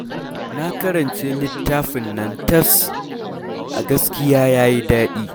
Na karance littafin nan tas, a gaskiya ya yi daɗi